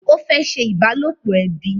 Ó fẹ́ ṣe ìbálòpọ̀ ẹbi